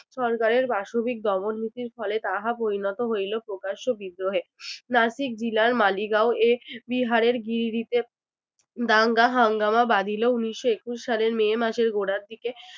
সরকার এর পাশবিক দমন নীতির ফলে তাহা পরিণত হইল প্রকাশ্য বিদ্রোহে। নাসিক ভিলার মালিগাঁও এ বিহারের গিরিডিতে দাঙ্গা হাঙ্গামা বাঁধিল উনিশশো একুশ সালের মে মাসের গোড়ার দিকে